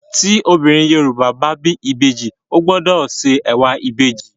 Tí obìnrin Yorùbá bá bí ìbejì ó gbọdọ̀ se ẹ̀wà ìbejì.